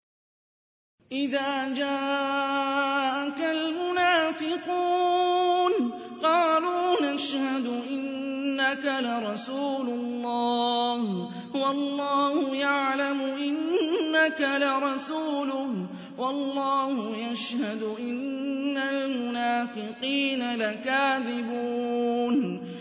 إِذَا جَاءَكَ الْمُنَافِقُونَ قَالُوا نَشْهَدُ إِنَّكَ لَرَسُولُ اللَّهِ ۗ وَاللَّهُ يَعْلَمُ إِنَّكَ لَرَسُولُهُ وَاللَّهُ يَشْهَدُ إِنَّ الْمُنَافِقِينَ لَكَاذِبُونَ